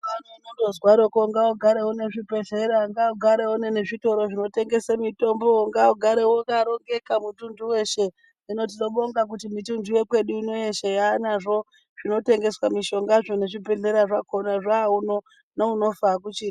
Kundozwarikwo ngaugare une zvibhedhlera ngaugare une zvitoro zvinotengeswe mutombo ngaugare wakarongeka mutuntu weshe hino tinobonga Kuti mituntu yekwedu ino yeshe yaanazvo zvinotengeswa mushongazvo nezvibhedhlera zvo zvauno neunofa akuchina.